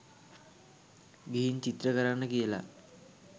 ගිහින් චිත්‍ර කරන්න කියල.